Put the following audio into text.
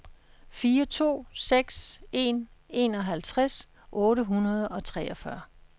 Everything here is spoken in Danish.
fire to seks en enoghalvtreds otte hundrede og treogfyrre